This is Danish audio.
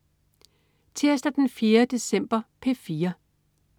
Tirsdag den 4. december - P4: